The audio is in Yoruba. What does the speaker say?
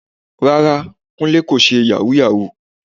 Rárá, Kúnlé kò ṣe Yàhooyahoo